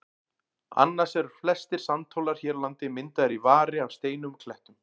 Annars eru flestir sandhólar hér á landi myndaðir í vari af steinum og klettum.